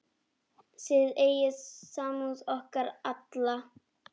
Þið eigið samúð okkar alla.